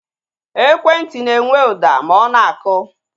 Ekwentị na-enwe ụda ma ọ na-akụ